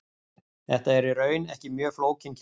Þetta er í raun ekki mjög flókin kenning.